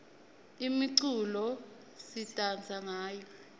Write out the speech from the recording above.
imiculo sidansa ngayo